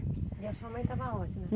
E a sua mãe estava aonde?